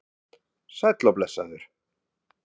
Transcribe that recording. Sæll og blessaður